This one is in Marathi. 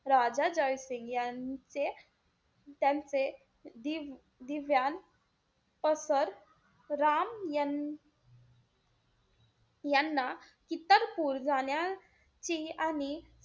राजा जय सिंग यांचे त्यांचे दिव्यान पसर राम या~ यांना कित्तरपूर जाण्याची आणि